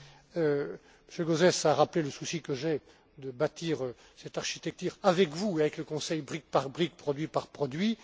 M. Gauzès a rappelé le souci que j'ai de bâtir cette architecture avec vous et avec le Conseil, brique par brique, produit par produit.